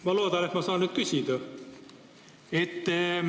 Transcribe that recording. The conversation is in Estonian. Ma loodan, et ma saan nüüd küsida.